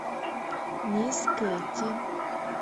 мисс кейти